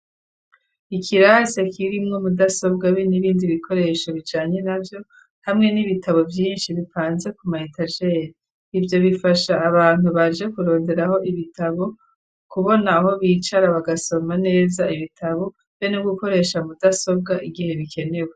Ikirasi kirimwo mudasobwa be n'ibindi bikoresho bijanye navyo . Hamwe n'ibitabo byinshi bipanze ku maheta jer ibyo bifasha abantu baje kuronderaho ibitabo kubona aho bicara bagasoma neza ibitabo be no gukoresha mudasobwa igihe bikenewe.